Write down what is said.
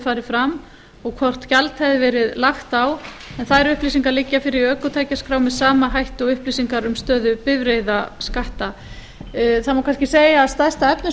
farið fram og hvort gjald hefði verið lagt á en þær upplýsingar liggja fyrir í ökutækjaskrá með sama hætti og upplýsingar um stöðu bifreiðaskatta það má kannski segja að stærst af þessu sé